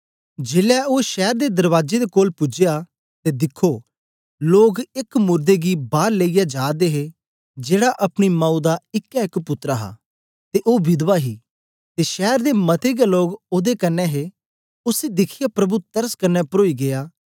जेलै ओ शैर दे दरबाजे दे कोल पूजया ते दिखखो लोक एक मुरदे गी बार लेईयै जा दे हे जेड़ा अपनी माऊ दा इकै एक पुत्तर हा ते ओ विधवा ही ते शैर दे मते गै लोक ओदे कन्ने हे